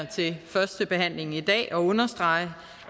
ved førstebehandlingen i dag at understrege